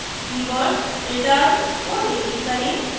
keyword return को delete करें